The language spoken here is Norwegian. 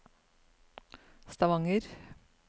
Stavanger